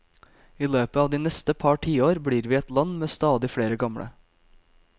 I løpet av de neste par tiår blir vi et land med stadig flere gamle.